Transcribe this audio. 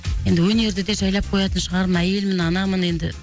енді өнерді де жайлап коятын шығармын әйелмін анамын енді